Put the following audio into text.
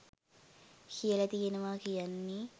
කියල තියෙනවා කියන්නේ